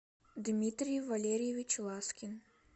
дмитрий валерьевич ласкин